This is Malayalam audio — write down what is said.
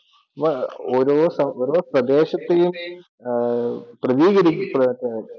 അപ്പോ ഓരോഓരോ പ്രദേശത്തെയും